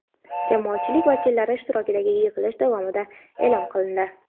jamoatchilik vakillari ishtirokidagi yig‘ilish davomida e’lon qilindi.